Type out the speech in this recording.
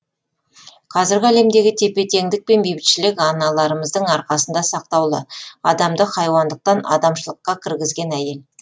қазіргі әлемдегі тепе теңдік пен бейбітшілік аналарымыздың арқасында сақтаулы адамды хайуандықтан адамшылыққа кіргізген әйел